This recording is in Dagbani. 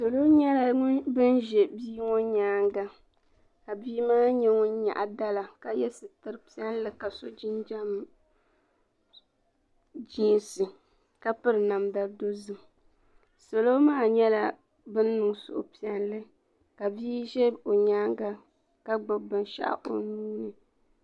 Salo nyɛla bin ʒɛ bia ŋo nyaanga ka bia maa mii nyaɣa dala ka yɛ sitira piɛlli ka so jinjɛm jiisɛ ka piri namda dozim salo maa nyɛla bin niŋ suhupiɛlli ka bia ʒɛ o nyaanga ka gbubi namda o nuuni